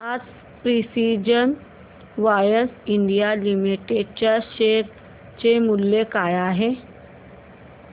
आज precision wires India limited च्या शेअर चे मूल्य काय आहे